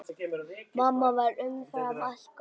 Mamma var umfram allt góð.